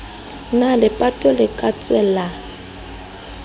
na lepato le ka tswelang